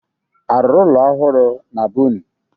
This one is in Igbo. A rụrụ ụlọ ohụrụ na be unu?